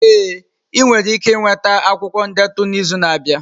Ee, ị nwere ike nweta akwụkwọ ndetu n'izu na-abịa.